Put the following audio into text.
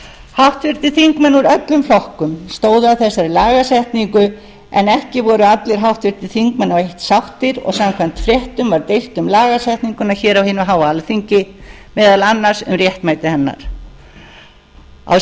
háttvirtir þingmenn úr öllum flokkum stóðu að þessari lagasetningu en ekki voru allir háttvirtir þingmenn á eitt sáttir og samkvæmt fréttum var deilt um lagasetninguna hér á hinu háa alþingi meðal annars um réttmæti hennar ég vil